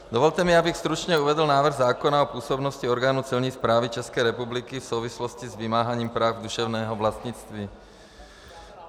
Dovolte mi, abych stručně uvedl návrh zákona o působnosti orgánů Celní správy České republiky v souvislosti s vymáháním práv duševního vlastnictví.